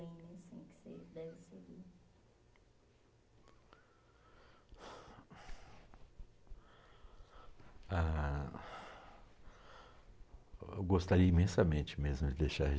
assim que você deve. Ah... Eu gostaria imensamente mesmo de deixar